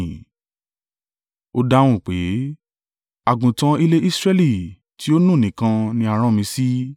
Ó dáhùn pé, “Àgùntàn ilẹ̀ Israẹli tí ó nù nìkan ni a rán mi sí.”